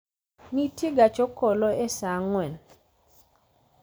nitie gach okolo e saa ang'wen